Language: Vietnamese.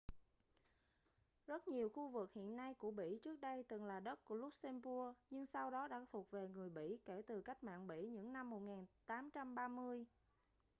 rất nhiều khu vực hiện nay của bỉ trước đây từng là đất của luxembourg nhưng sau đó đã thuộc về người bỉ kể từ cách mạng bỉ những năm 1830